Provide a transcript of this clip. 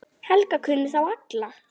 Helga kunni þá alla.